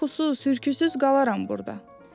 Qorxusuz, hürküsüz qalaram burda.